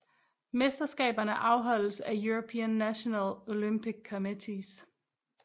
Mesterskaberne afholdes af European National Olympic Committees